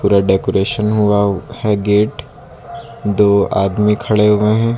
पूरा डेकोरेशन हुआ है गेट दो आदमी खड़े हुए हैं।